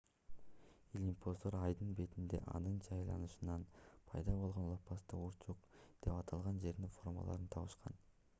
илимпоздор айдын бетинде анын жай айланышынан пайда болгон лопасттуу урчук деп аталган жердин формаларын табышкан